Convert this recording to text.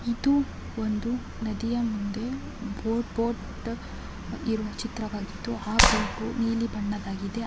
ಇದು ಇಂದು ನದಿಯ ಮುಂದೆ ಬೋಟ್ ಬೋಟ್ ಇರುವ ಚಿತ್ರವಾಗಿದ್ದು ಅ ಬೋಟ್ ನೀಲಿ ಬಣ್ಣವಾಗಿದೆ ಅ ಬೋಟಿನಲ್ಲಿ ಇಬ್ಬರು ಒಬ್ಬ ಮನುಷ್ಯ ಮತ್ತು ಒಬ್ಬ ಚಿಕ್ಕ್ಕ ಮಗುವು ಬೋಟಿನ ಮೇಲೆ ಅತ್ತುಕೊಂಡು ಸೂರ್ಯನ ಹಿಡಿದು ಫೋಟೋಗೆ ಪೋಸ್ ಕೊಡುವಂತಹ ಚಿತ್ರವಾಗಿದೆ.